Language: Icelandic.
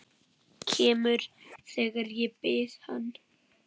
Kemur þegar ég bið hann.